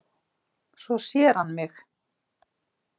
Svo sér hann mig.